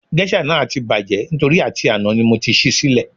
Géṣà náà ti bàjẹ́ nítorí àti àná ni mo ti ṣí í sílẹ̀